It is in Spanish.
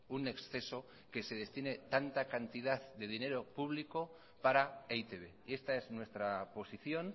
un exceso que se destine tanta cantidad de dinero público para e i te be y esta es nuestra posición